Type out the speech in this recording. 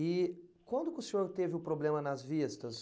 E quando que o senhor teve o problema nas vistas?